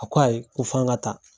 A ko ayi ko fɔ an ka taa.